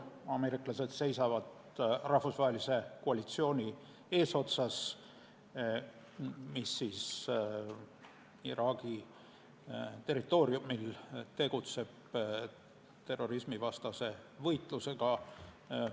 Ameeriklased seisavad rahvusvahelise koalitsiooni eesotsas, mis tegutseb Iraagi territooriumil terrorismivastase võitlusega.